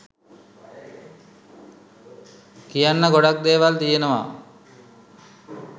කියන්න ගොඩක් දේවල් තියනවා